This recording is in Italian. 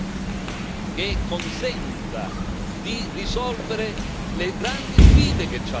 che consenta di risolvere le grandi sfide che ha l'Africa.